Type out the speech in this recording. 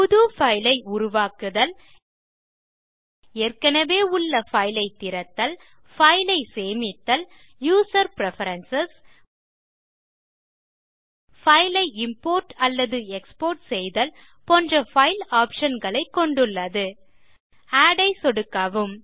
புது பைல் ஐ உருவாக்குதல் ஏற்கனவே உள்ள பைல் ஐ திறத்தல் பைல் ஐ சேமித்தல் யூசர் பிரெஃபரன்ஸ் பைல் ஐ இம்போர்ட் அல்லது எக்ஸ்போர்ட் செய்தல் போன்ற பைல் ஆப்ஷன் களை கொண்டுள்ளது ஆட் ஐ சொடுக்கவும்